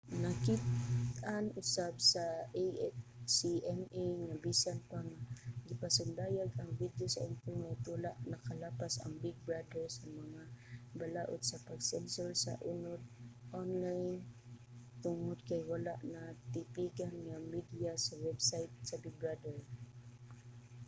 nakit-an usab sa acma nga bisan pa nga gipasundayag ang video sa internet wala nakalapas ang big brother sa mga balaod sa pag-sensor sa unod onlayn tungod kay wala natipigan ang mediya sa website sa big brother